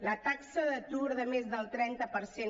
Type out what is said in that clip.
la taxa d’atur de més del trenta per cent